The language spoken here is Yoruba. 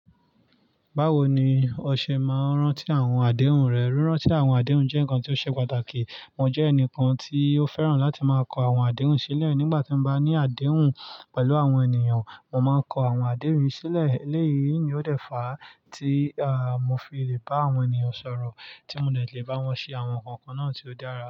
Báwo ni o ṣe máa ń rántí àwọn àdéhùn rẹ? Rírántí àwọn àdéhùn jẹ́ nǹkan tó ṣe pàtàkì. Mo jẹ́ ẹnìkan tí ó fẹ́ràn láti máa kọ àwọn àdéhùn sílẹ̀ nígbà tí mo bá ní àdéhùn pẹ̀lú àwọn ènìyàn. Mo máa ń kọ àwọn àdéhùn mi sílẹ̀. Eléyìí ni ó dẹ̀ fá tí, à, mo fi le bá àwọn ènìyàn sọ̀rọ̀, tí mo le lè bá wọn ṣe àwọn nǹkan kan náà tí ó dára.